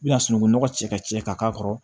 I bɛna sunungun nɔgɔ cɛ ka cɛ ka k'a kɔrɔ